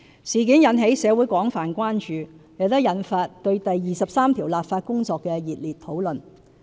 事件引起社會廣泛關注，亦引發對第二十三條立法工作的熱烈討論。